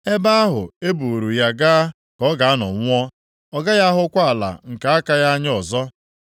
Ebe ahụ e buuru ya gaa ka ọ ga-anọ nwụọ. Ọ gaghị ahụkwa ala nke aka ya anya ọzọ.”